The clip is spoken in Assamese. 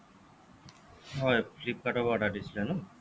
হ'য় flipkart ৰ পৰা order দিছিলে ন